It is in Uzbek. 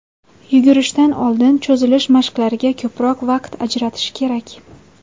Yugurishdan oldin cho‘zilish mashqlariga ko‘proq vaqt ajratish kerak.